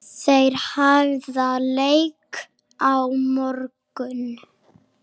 Þær hefja leik á morgun.